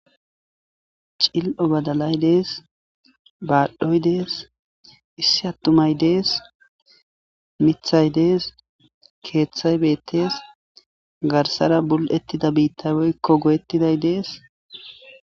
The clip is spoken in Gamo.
Cil'o badalay dees baadhdhoy dees issi attumay dees mithay dees keeththay beettees garsara bul'ettida biittabeykko go'ettiday dees